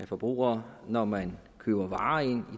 forbrugere når man køber varer ind